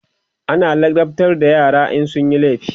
ana ladabtar da yara in sunyi laifi